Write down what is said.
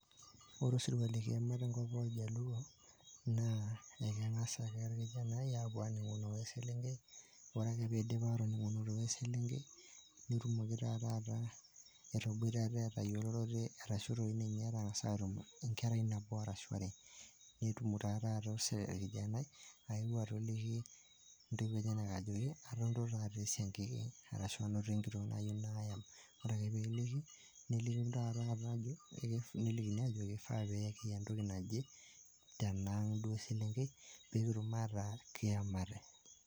Ore osirua le kiama tenkop oljaluo, naa ekeng'as ake olkijani apuo aning'uno oeselenkei , ore ake peidip atoningunoto oeselenkei netumoki taa taata ataboitare, atayolore arashu eitoki ninye atangas atum enkerai nabo arashu are, netum taa taata olkijani aeu atoliki intoiwuo enyenak ajoki anoto taata esiangiki arashu anoto enkitok nayou nayam, ore ake peeliki neliki taa tata ajo, nelikini ajoki  eifaa peekiya ntoki naje tenaang duo eselenkei peekitum ataa kiamate.